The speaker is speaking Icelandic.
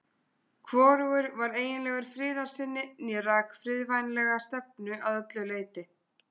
Hvorugur var eiginlegur friðarsinni né rak friðvænlega stefnu að öllu leyti.